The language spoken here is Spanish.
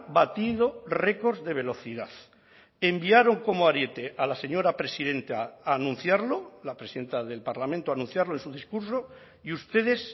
batido récords de velocidad enviaron como ariete a la señora presidenta a anunciarlo la presidenta del parlamento a anunciarlo en su discurso y ustedes